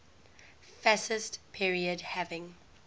fascist period having